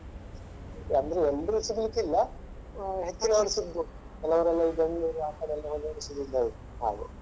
ಅಂದ್ರೆ ಎಲ್ಲರು ಸಿಗ್ಲಿಕ್ಕೆ ಇಲ್ಲ ಹೆಚ್ಚಿನವರು ಸಿಗಬೋದು ಕೆಲವರೆಲ್ಲ ಈ Bengaluru ಆ ಕಡೆ ಎಲ್ಲ ಹಾಗೆ.